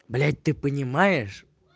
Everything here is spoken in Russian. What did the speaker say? блять ты понимаешь